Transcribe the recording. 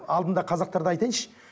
алдында қазақтарды айтайыншы